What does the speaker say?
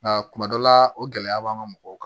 Nka kuma dɔ la o gɛlɛya b'an ka mɔgɔw kan